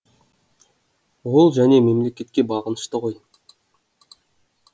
ол және мемлекетке бағынышты ғой